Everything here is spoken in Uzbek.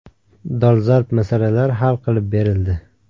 Dolzarb masalalar hal qilib berildi.